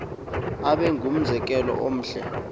abe ngumzekelo omhle